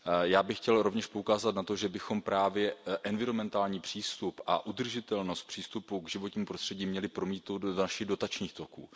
Já bych chtěl rovněž poukázat na to, že bychom právě environmentální přístup a udržitelnost přístupu k životnímu prostředí měli promítnout do dalších dotačních toků.